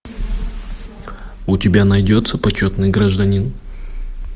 у тебя найдется почетный гражданин